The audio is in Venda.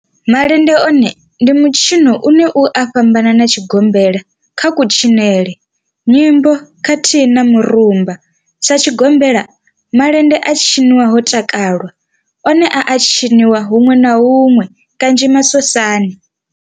Malende one ndi mitshino une u a fhambana na tshigombela kha kutshinele, nyimbo khathihi na mirumba. Sa tshigombela, malende a tshinwa ho takalwa, one a a tshiniwa huṅwe na huṅwe kanzhi masosani.